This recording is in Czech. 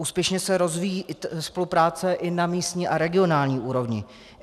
Úspěšně se rozvíjí spolupráce i na místní a regionální úrovni.